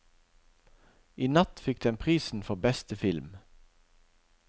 I natt fikk den prisen for beste film.